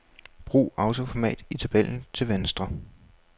Brug autoformat i tabellen til venstre.